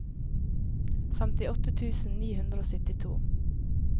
femtiåtte tusen ni hundre og syttito